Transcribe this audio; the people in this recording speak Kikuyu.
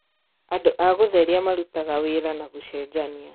Andũ a gũtheria marutaga wĩra na gũcenjania